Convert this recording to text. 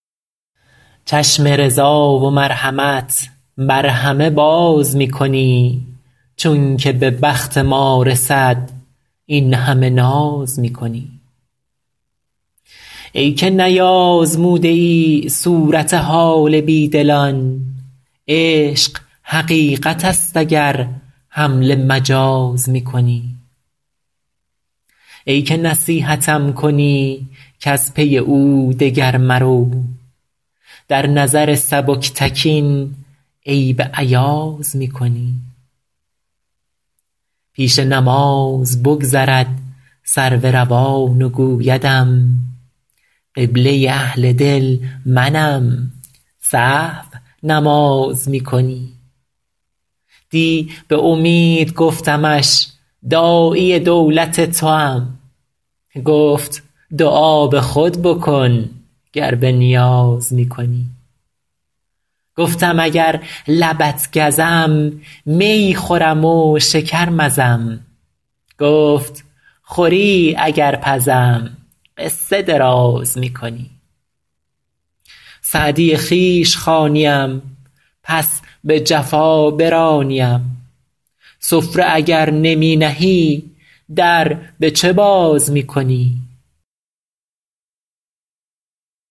چشم رضا و مرحمت بر همه باز می کنی چون که به بخت ما رسد این همه ناز می کنی ای که نیآزموده ای صورت حال بی دلان عشق حقیقت است اگر حمل مجاز می کنی ای که نصیحتم کنی کز پی او دگر مرو در نظر سبکتکین عیب ایاز می کنی پیش نماز بگذرد سرو روان و گویدم قبله اهل دل منم سهو نماز می کنی دی به امید گفتمش داعی دولت توام گفت دعا به خود بکن گر به نیاز می کنی گفتم اگر لبت گزم می خورم و شکر مزم گفت خوری اگر پزم قصه دراز می کنی سعدی خویش خوانیم پس به جفا برانیم سفره اگر نمی نهی در به چه باز می کنی